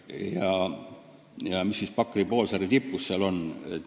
Mis näiteks on Pakri poolsaare tipus?